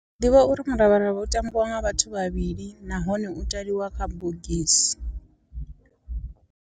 Ndi ḓivha uri muravharavha u tambiwa nga vhathu vhavhili nahone u taliwa kha bogisi.